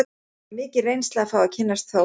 Það var mikil reynsla að fá að kynnast Þórunni.